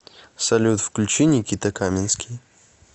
салют включи никита каменский